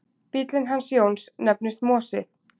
Bíllinn hans Jóns nefnist Mosi.